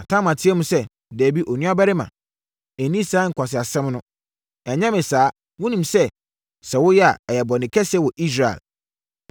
Na Tamar teaam sɛ, “Dabi, onua barima! Nni saa nkwaseasɛm no! Ɛnyɛ me saa! Wonim sɛ, sɛ woyɛ a, ɛyɛ bɔne kɛseɛ wɔ Israel.